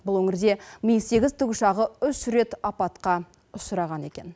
бұл өңірде ми сегіз тікұшағы үш рет апатқа ұшыраған екен